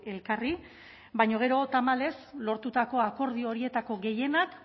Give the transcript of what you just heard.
elkarri baina gero tamalez lortutako akordio horietako gehienak